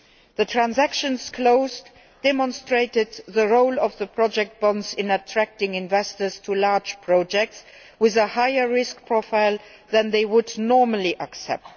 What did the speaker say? The transactions closed demonstrated the role of the project bonds in attracting investors to large projects with a higher risk profile than they would normally accept.